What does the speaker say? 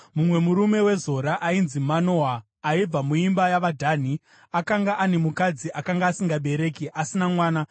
Mumwe murumwe weZora ainzi Manoa, aibva muimba yavaDhani, akanga ane mukadzi akanga asingabereki, asina mwana.